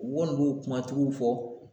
U kɔni b'o kuma tigiw fɔ